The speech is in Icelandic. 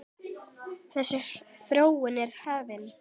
Þessi þróun er hafin.